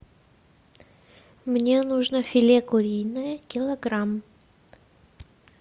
мне нужно филе куриное килограмм